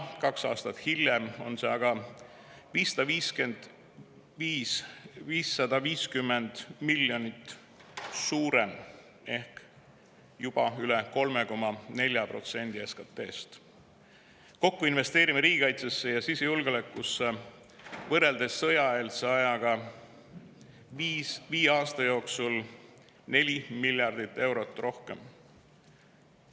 Kaks aastat hiljem on see aga 550 miljonit eurot suurem ehk juba üle 3,4% SKT‑st. Kokku investeerime riigikaitsesse ja sisejulgeolekusse võrreldes sõjaeelse ajaga viie aasta jooksul 4 miljardit eurot rohkem.